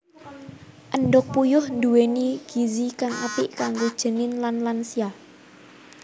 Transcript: Endhog puyuh nduwéni gizi kang apik kanggo janin lan lansia